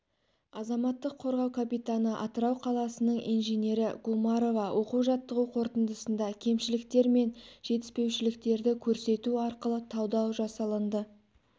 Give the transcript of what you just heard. азаматтық қорғау капитаны атырау қаласының инженері гумарова оқу-жаттығу қорытындысында кемшіліктер мен жетіспеушіліктерді көрсету арқылы талдау жасылынды